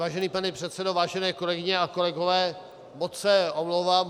Vážený pane předsedo, vážené kolegyně a kolegové, moc se omlouvám.